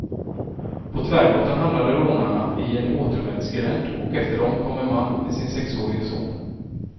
På tvärgatan hamnade rånarna i en återvändsgränd och efter dem kom en man med sin sexårige son.